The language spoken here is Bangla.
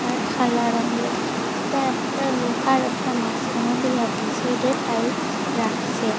আর খালা রঙ্গের এটা একটা লুহার একটা মাজখানো দিয়া থুইসে দুই সাইডে টাইলস রাখসে।